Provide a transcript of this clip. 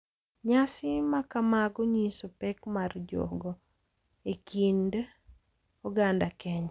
Nyasi makamago nyiso pek mar rojho e kind oganda Kenya.